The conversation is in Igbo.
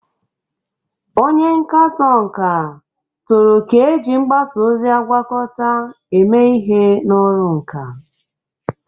Onye nkatọ nka toro ka eji mgbasa ozi agwakọta eme ihe n'ọrụ nka.